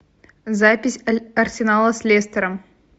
запись арсенала с лестером